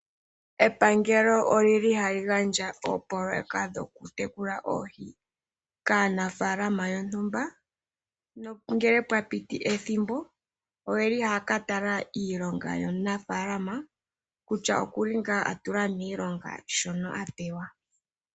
Epangelo olili hali gandja oopololeka dhokutekula oohi kaanafalama yontumba ngele pwa piti ethimbo oyeli haya katala iilonga yomunafalama kutya okuli ngaa atula miilonga shono apewa.